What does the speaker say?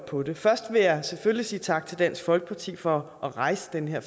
på det først vil jeg selvfølgelig sige tak til dansk folkeparti for at rejse den her